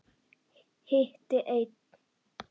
Hitti einn.